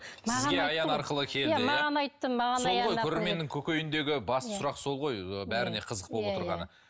аян арқылы келді маған айтты маған көрерменнің көкейіндегі басты сұрақ сол ғой бәріне қызық болып отырғаны